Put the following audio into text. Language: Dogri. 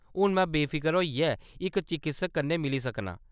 हून में बेफिकर होइयै इक चकित्सक कन्नै मिली सकनां।